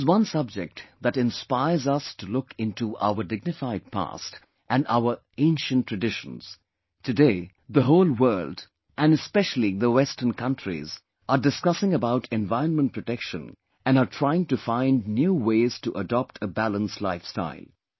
This is one subject that inspires us to look into our dignified past and our ancient traditions, Today, the whole world and specially the western countries are discussing about environment protection and are trying to find new ways to adopt a balanced life style